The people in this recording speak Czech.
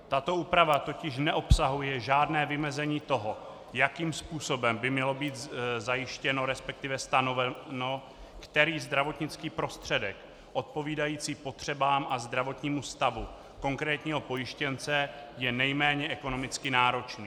Tato úprava totiž neobsahuje žádné vymezení toho, jakým způsobem by mělo být zajištěno, respektive stanoveno, který zdravotnický prostředek odpovídající potřebám a zdravotního stavu konkrétního pojištěnce je nejméně ekonomicky náročný.